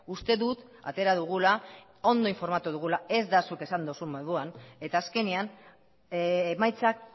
uste dut atera dugula ondo informatu dugula ez da zut esan duzun moduan eta azkenean emaitzak